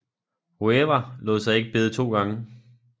Guevara lod sig ikke bede to gange